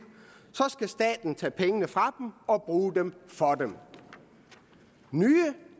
skal staten tage pengene fra dem og bruge dem for dem nye